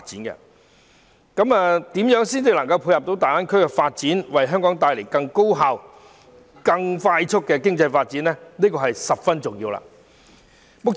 如何能配合大灣區發展，為香港帶來更高效、更快速的經濟發展，是十分重要的問題。